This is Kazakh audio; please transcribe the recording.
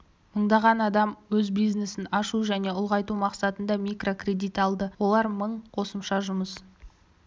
мыңнан астам адам өз бизнесін ашу және ұлғайту мақсатында микрокредит алды олар мың қосымша жұмыс